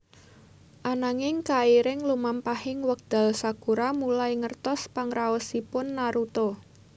Ananging kairing lumampahing wekdal Sakura mulai ngertos pangraosipun Naruto